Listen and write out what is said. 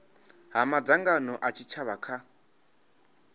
ha madzangano a tshitshavha kha